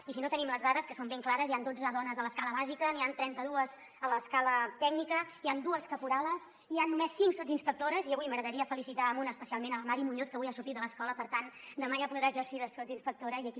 i si no tenim les dades que són ben clares hi han dotze dones a l’escala bàsica n’hi han trenta·dues a l’escala tècnica hi han dues caporales hi han només cinc sotsinspectores i avui m’agradaria felicitar·ne una especialment la mari muñoz que avui ha sortit de l’escola i per tant demà ja podrà exercir de sotsinspectora i aquí